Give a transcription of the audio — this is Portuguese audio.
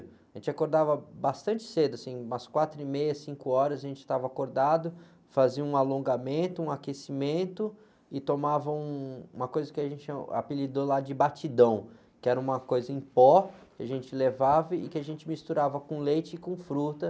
A gente acordava bastante cedo, assim, umas quatro e meia, cinco horas, a gente estava acordado, fazia um alongamento, um aquecimento e tomava um, uma coisa que a gente apelidou lá de batidão, que era uma coisa em pó que a gente levava e que a gente misturava com leite e com fruta.